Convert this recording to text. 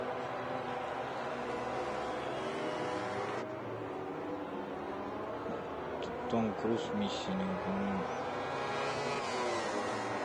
том круз миссия невыполнима